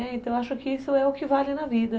Então eu acho que isso é o que vale na vida.